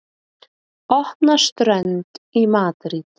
Opna strönd í Madríd